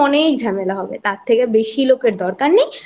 হবে তার থেকে বেশি লোকের দরকার নেই